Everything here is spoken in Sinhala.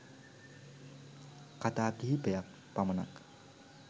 කතා කිහිපයක් පමණක්